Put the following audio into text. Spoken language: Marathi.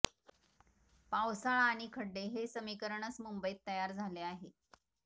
पावसाळा आणि खड्डे हे समीकरणच मुंबईत तयार झाले आहे